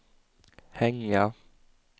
hänga